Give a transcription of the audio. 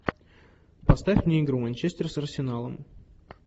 поставь мне игру манчестер с арсеналом